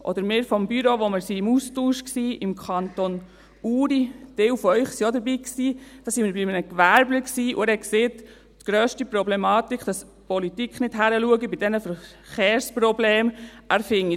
Oder als wir vom Büro im Austausch im Kanton Uri waren – ein Teil von Ihnen war auch dabei –, waren wir bei einem Gewerbler, der sagte, die grösste Problematik sei, dass die Politik bei diesen Verkehrsproblemen nicht hinschaue.